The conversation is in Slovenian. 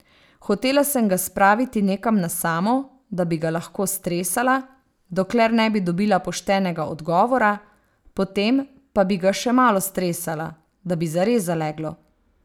Hotela sem ga spraviti nekam na samo, da bi ga lahko stresala, dokler ne bi dobila poštenega odgovora, potem pa bi ga še malo stresala, da bi zares zaleglo.